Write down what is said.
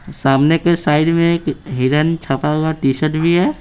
सामने के साइड में एक हिरण छपा हुआ टी_शर्ट भी है।